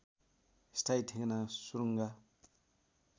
स्थायी ठेगाना सुरुङ्गा